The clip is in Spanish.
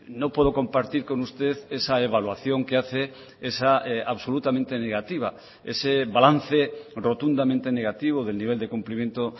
no puedo compartir con usted esa evaluación que hace esa absolutamente negativa ese balance rotundamente negativo del nivel de cumplimiento